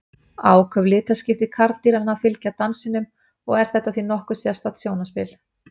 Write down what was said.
áköf litaskipti karldýranna fylgja dansinum og er þetta því nokkuð sérstakt sjónarspil